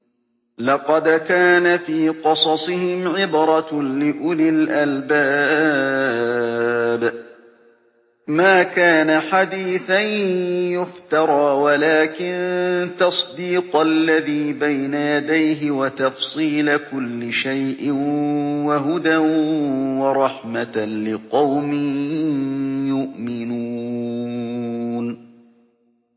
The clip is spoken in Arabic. لَقَدْ كَانَ فِي قَصَصِهِمْ عِبْرَةٌ لِّأُولِي الْأَلْبَابِ ۗ مَا كَانَ حَدِيثًا يُفْتَرَىٰ وَلَٰكِن تَصْدِيقَ الَّذِي بَيْنَ يَدَيْهِ وَتَفْصِيلَ كُلِّ شَيْءٍ وَهُدًى وَرَحْمَةً لِّقَوْمٍ يُؤْمِنُونَ